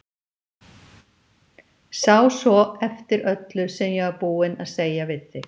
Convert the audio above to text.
Sá svo eftir öllu sem ég var búin að segja við þig.